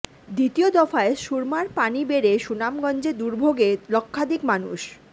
দ্বিতীয় দফায় সুরমার পানি বেড়ে সুনামগঞ্জে দুর্ভোগে লক্ষাধিক মানুষ